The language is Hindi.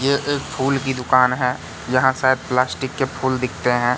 ये एक फूलों की दुकान है जहां शायद प्लास्टिक के फूल दिखते है।